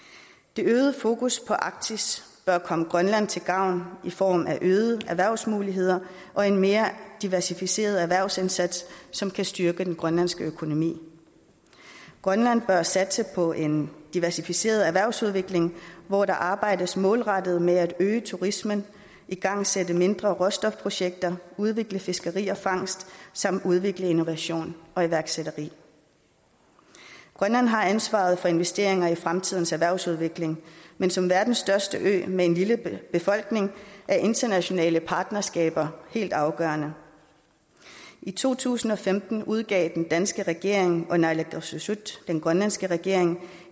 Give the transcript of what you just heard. det øgede fokus på arktis bør komme grønland til gavn i form af øgede erhvervsmuligheder og en mere diversificeret erhvervsindsats som kan styrke den grønlandske økonomi grønland bør satse på en diversificeret erhvervsudvikling hvor der arbejdes målrettet med at øge turismen igangsætte mindre råstofprojekter udvikle fiskeri og fangst samt udvikle innovation og iværksætteri grønland har ansvaret for investeringer i fremtidens erhvervsudvikling men som verdens største ø med en lille befolkning er internationale partnerskaber helt afgørende i to tusind og femten udgav den danske regering og naalakkersuisut den grønlandske regering